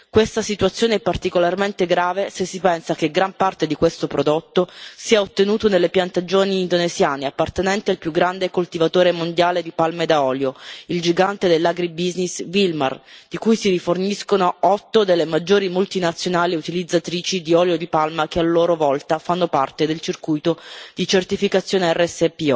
Questa situazione è particolarmente grave se si pensa che gran parte di questo prodotto è ottenuto nelle piantagioni indonesiane appartenenti al più grande coltivatore mondiale di palme da olio, il gigante dell' agribusiness Wilmar, da cui si riforniscono 8 delle maggiori multinazionali utilizzatrici di olio di palma, che a loro volta fanno parte del circuito di certificazione RSPO.